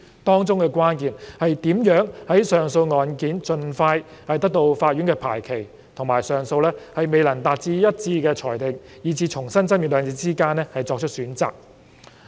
當中的關鍵是如何在令上訴案件盡快得到法院的排期，以及上訴未能達到一致的裁定以致須重新爭辯兩者之間作出取捨。